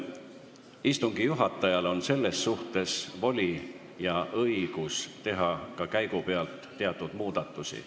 Istungi juhatajal on selles suhtes voli teha ka käigupealt teatud muudatusi.